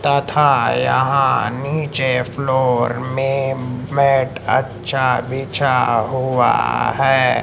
तथा यहां नीचे फ्लोर में मैट अच्छा बिछा हुआ है।